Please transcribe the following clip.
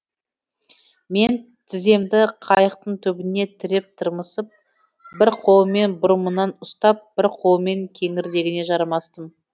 мен тіземді қайықтың түбіне тіреп тырмысып бір қолыммен бұрымынан ұстап бір қолыммен кеңірдегіне жармастым